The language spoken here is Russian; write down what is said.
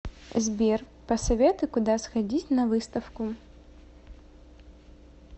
сбер посоветуй куда сходить на выставку